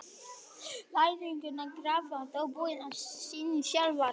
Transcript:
Læðurnar grafa þó búin sín sjálfar.